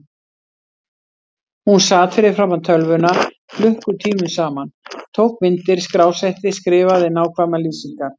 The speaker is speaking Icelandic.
Hún sat fyrir framan tölvuna klukkutímum saman, tók myndir, skrásetti, skrifaði nákvæmar lýsingar.